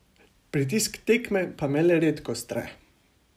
Pritisk tekme pa me le redko stre.